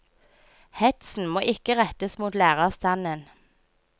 Hetsen må ikke rettes mot lærerstanden.